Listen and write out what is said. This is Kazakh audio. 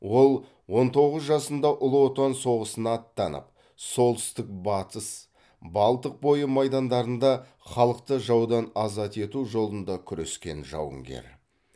ол он тоғыз жасында ұлы отан соғысына аттанып солтүстік батыс балтық бойы майдандарында халықты жаудан азат ету жолында күрескен жауынгер